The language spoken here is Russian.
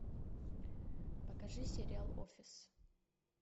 покажи сериал офис